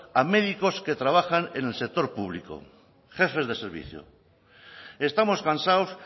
a médicos que trabajan en el sector público jefes de servicio estamos cansados